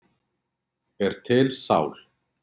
Er til sál?